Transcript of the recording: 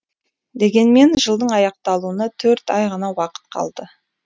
дегенмен жылдың аяқталуына төрт ай ғана уақыт қалды